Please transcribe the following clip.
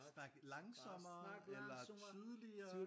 Snak langsommere eller tydeligere